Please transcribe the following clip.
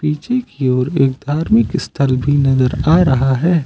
पीछे की और एक धार्मिक स्थल भी नजर आ रहा है।